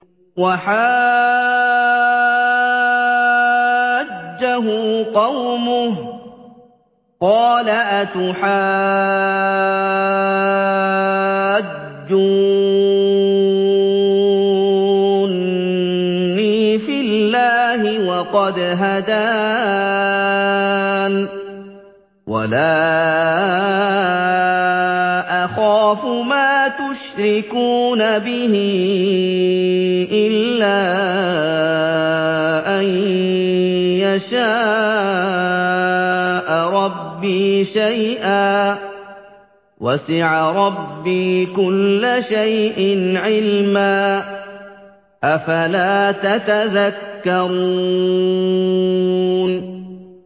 وَحَاجَّهُ قَوْمُهُ ۚ قَالَ أَتُحَاجُّونِّي فِي اللَّهِ وَقَدْ هَدَانِ ۚ وَلَا أَخَافُ مَا تُشْرِكُونَ بِهِ إِلَّا أَن يَشَاءَ رَبِّي شَيْئًا ۗ وَسِعَ رَبِّي كُلَّ شَيْءٍ عِلْمًا ۗ أَفَلَا تَتَذَكَّرُونَ